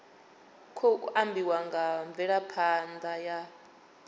khou ambiwa nga mvelaphanḓa ya